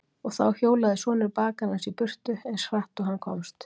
Og þá hjólaði sonur bakarans í burtu, eins hratt og hann komst.